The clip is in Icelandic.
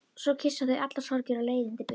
Svo kyssa þau allar sorgir og leiðindi burtu.